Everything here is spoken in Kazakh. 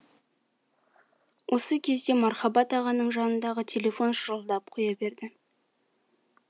осы кезде мархабат ағаның жанындағы телефон шырылдап қоя берді